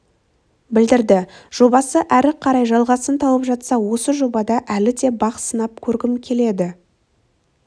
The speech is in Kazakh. білдірді жобасы әрі қарай жалғасын тауып жатса осы жобада әлі де бақ сынап көргім келеді